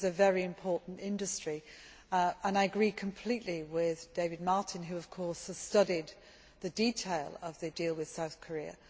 This is a very important industry and I agree completely with David Martin who has studied the detail of the deal with South Korea.